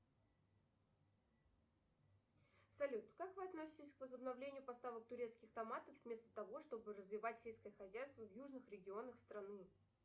салют как вы относитесь к возобновлению поставок турецких томатов вместо того чтобы развивать сельское хозяйство в южных регионах страны